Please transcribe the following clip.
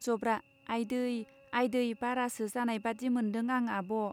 जब्रा आयदै आयदै बारासो जानाय बादि मोन्दों आं आबः.